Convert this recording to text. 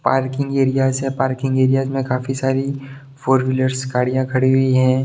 Parking areas है parking areas में काफी सारी फोर व्हीलरस गाड़िया खड़ी हुई है।